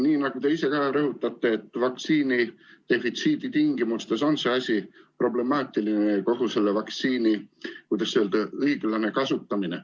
Nii nagu te ka ise rõhutate, on vaktsiinidefitsiidi tingimustes see asi problemaatiline, kogu selle vaktsiini õiglane kasutamine.